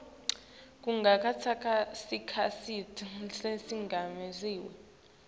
kungatsatsa sikhatsi lesilinganiselwa